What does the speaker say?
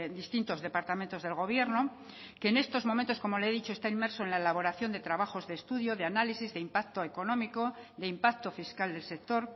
distintos departamentos del gobierno que en estos momentos como le he dicho está inmerso en la elaboración de trabajos de estudio de análisis de impacto económico de impacto fiscal del sector